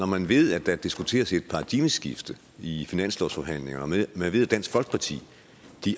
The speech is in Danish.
man ved at der diskuteres et paradigmeskifte i finanslovsforhandlingerne og man ved at dansk folkeparti